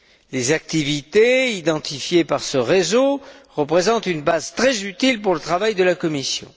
Les activités identifiées par ce réseau représentent une base très utile pour le travail de la Commission.